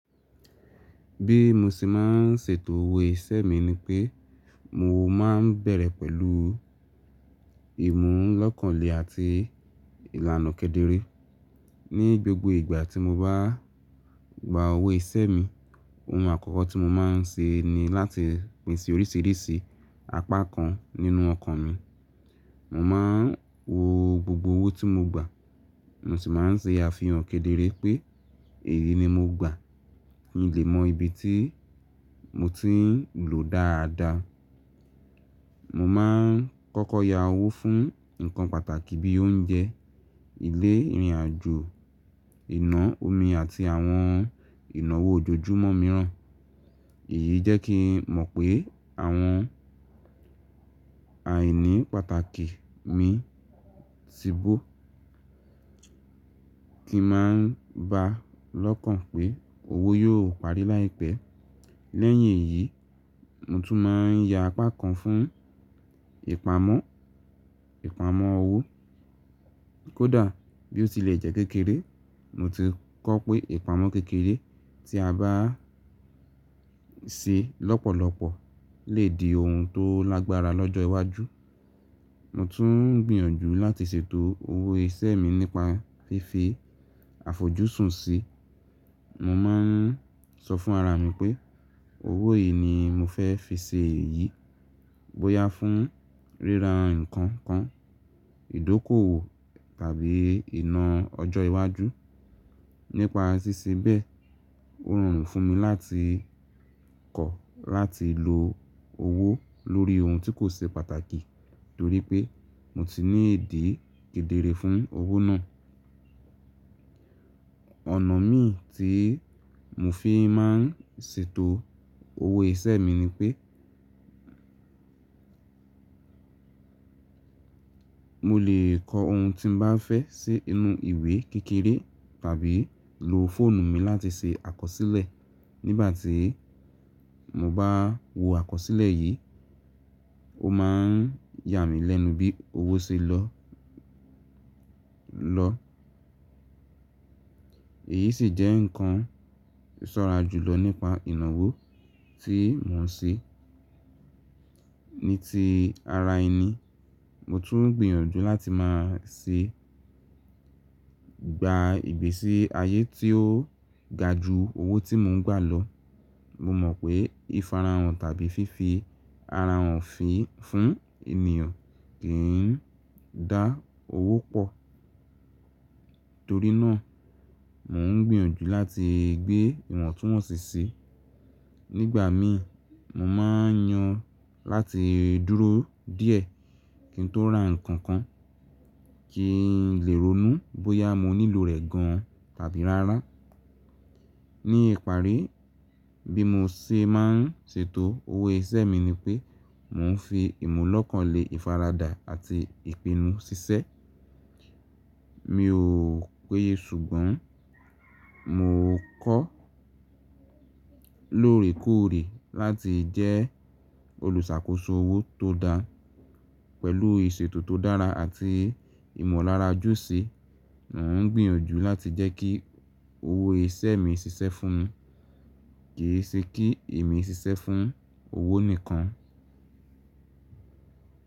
Bí mo ṣe máa ń ṣètò owó iṣẹ́ mi ni pé mo máa ń bẹ̀rẹ̀ pẹ̀lú ìmúlọ́kànle àti ìlànà kedere. Ní gbogbo ìgbà tí mo bá gba owó iṣẹ́ mi, ohun àkọ́kọ́ tí mo máa ń ṣe ni láti pèsè oríṣìíríṣìí apá kan nínú ọkàn mi. Mo máa ń wo gbogbo owó tí mo gbà, mo sì máa ń ṣe àfihàn kedere pé èyí ni mo gbà. Mo lè mọ ibi tí mo ti ń lò dáadáa. Mo máa ń kọ́kọ́ ya owó fún nǹkan pàtàkì bí i oúnjẹ, ilé, ìrìnàjò, iná, omi àti àwọn ìnáwó ojoojúmọ́ mìíràn. Èyí jẹ́ kí n mọ̀ pé àwọn àìní pàtàkì mi ti bó. Kí máa ń gba lọ́kàn pé owó yóò parí láìpẹ́. Lẹ́yìn èyí, mo tún máa ń ya apá kan fún ìpamọ́, ìpamọ́ owó. Kódà bí ó tilẹ̀ jẹ́ kékeré, mo ti kọ́ pé ìpamọ́ kékeré tí a bá ń ṣe lọ́pọ̀lọpọ̀ lè di ohun tó lágbára lọ́jọ́ iwájú. Mo tún ń gbìyànjú láti ṣètò owó iṣẹ́ mi nípa fífi àfojúsùn sí i. Mo máa ń sọ fún ara mi pé owó yìí ni mo fẹ́ fi ṣe èyí, bóyá fún ríra nǹkan kan, ìdókòwò tàbí iná ọjọ́ iwájú. Nípa ṣíṣe bẹ́ẹ̀, ó rọrùn fún mi láti kọ̀ láti lo owó lórí ohun tí kò ṣe pàtàkì torí pé mo ti ní ìdí kedere fún owó náà. Ọ̀nà mí tí mo fi máa ń ṣètò owó iṣẹ́ mi ni pé mo lè kọ ohun tí mo bá fẹ́ sí inú ìwé kékeré tàbí lo fóònù mi láti ṣe àkọsílẹ̀. Nígbà tí mo bá wo àkọsílẹ̀ yìí, ó máa ń yà mí lẹ́nu bí owó ṣe lọ. Èyí sì jẹ́ nǹkan ṣọ́ra jùlọ nípa ìnáwó tí mò ń ṣe. Ní ti ara ẹni, mo tún ń gbìyànjú láti máa ṣe gba ìgbésí ayé tí ó ga ju owó tí mò ń gbà lọ. Mo mọ̀ pé ìfarahàn tàbí fífi ara hàn fi fún ènìyàn kì í dá owó pọ̀. Torí náà, mò ń gbìyànjú láti gbé ìwọ̀ntúnwọ̀nsì sí. Nígbà mí, mo máa ń yan láti dúró díẹ̀ kí n tó ra nǹkan kan kí n lè ronú bóyá mo nílò rẹ̀ gan tàbí rárá. Ní ìparí, bí mo ṣe máa ń ṣètò owó iṣẹ́ mi ni pé mò ń fi ìmúlọ́kànle, ìfaradà àti ìpinnu ṣiṣẹ́. Mi ò péye ṣùgbọ́n mo kọ́ lóòrèkóòrè láti jẹ́ olùṣàkóso owó tó dáa. Pẹ̀lú ìṣètò tó dára àti ìmọ̀lára jù sí i, mò ń gbìyànjú láti jẹ́ kí owó iṣẹ́ mi ṣiṣẹ́ fún mi, kì í ṣe kí èmi ṣiṣẹ́ fún owó nìkan.